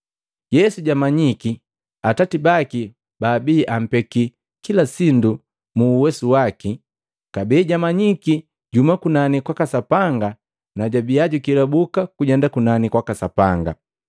Yesu jwamanyiki Atati baki babii ampeki kila sindu muuwesu waki, kabee jwamanyiki juhuma kunani kwaka Sapanga na jwabia jukelabuka kujenda kunani kwaka Sapanga.